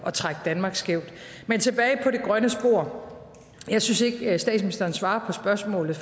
at trække danmark skævt men tilbage på det grønne spor jeg synes ikke at statsministeren svarer på spørgsmålet